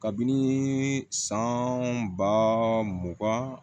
Kabini san ba mugan